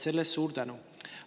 Selle eest suur tänu!